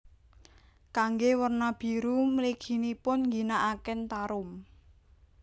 Kanggé werna biru mliginipun ngginakaken tarum